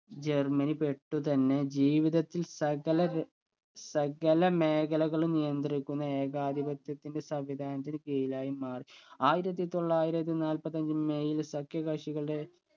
Germany പെട്ടുതന്നെ ജീവിതത്തിൽ സകലത് സകല മേഖലകളും നിയന്ത്രിക്കുന്ന ഏകാധിപത്ത്യന്റെ സംവിധാനത്തിന് കീഴിലായി മാറി ആയിരത്തി തൊള്ളായിരത്തി നാല്പത്തഞ്ചു മെയിൽ സഖ്യ കക്ഷികളുടെ